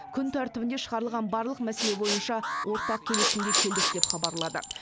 күн тәртібіне шығарылған барлық мәселе бойынша ортақ келісімге келдік деп хабарлады